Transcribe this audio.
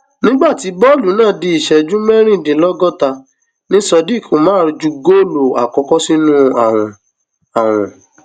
nígbà tí bọọlù náà di ìṣẹjú mẹrìndínlọgọta ni sodiq umar ju góòlù àkọkọ sínú àwọn àwọn